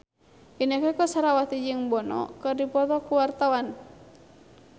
Inneke Koesherawati jeung Bono keur dipoto ku wartawan